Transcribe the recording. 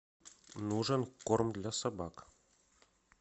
нужен корм для собак